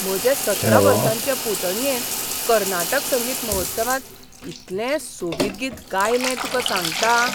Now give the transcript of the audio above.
म्हजे सतरा वर्सांचे पुतणयेन कर्नाटक संगीत महोत्सवांत इतलें सोबीत गीत गायलें, तुका सांगतां!